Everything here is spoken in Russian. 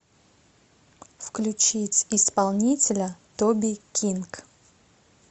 включить исполнителя тоби кинг